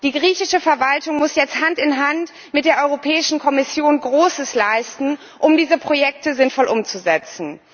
Die griechische Verwaltung muss jetzt Hand in Hand mit der Europäischen Kommission Großes leisten, um diese Projekte sinnvoll umzusetzen.